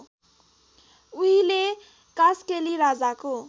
उहिले कास्केली राजाको